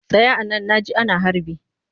Tsaya a nan na ji ana harbi!